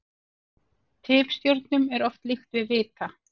Tifstjörnum er oft líkt við vita.